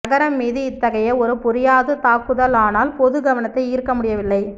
நகரம் மீது இத்தகைய ஒரு புரியாது தாக்குதல் ஆனால் பொது கவனத்தை ஈர்க்க முடியவில்லை